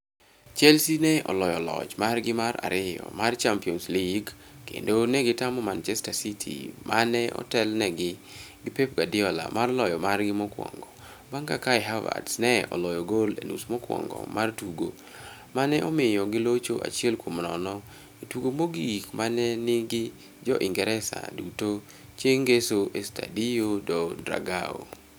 Chelsea ne oloyo loch margi mar ariyo mar Champions League kendo ne gitamo Manchester City ma ne otelnegi gi Pep Guardiola mar loyo margi mokkwongo bang' ka Kai Havertz ne oloyo gol e nusmokwongo mar tugo ma ne omiyo gilocho achiel kuom nono e tugo mogik ma ne nigi Jo-Ingresa duto chieng' Ngeso e Estadio Do Dragao.